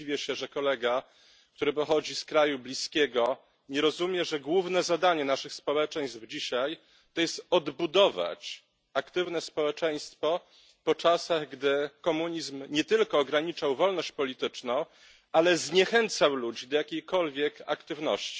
Zresztą dziwię się, że kolega, który pochodzi z kraju bliskiego, nie rozumie, że dzisiaj głównym zadaniem naszych społeczeństw jest odbudowanie aktywnego społeczeństwa po czasach, gdy komunizm nie tylko ograniczał wolność polityczną, ale zniechęcał ludzi do jakiejkolwiek aktywności.